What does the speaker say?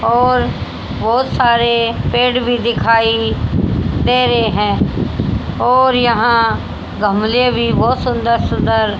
और बहोत सारे पेड़ भी दिखाई दे रहे हैं और यहां गमले भी बहोत सुंदर सुंदर--